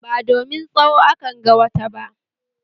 Ba domin tsawo akanga wata ba